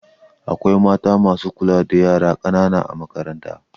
Akwai mata masu kula da yara ƙanana a makaranta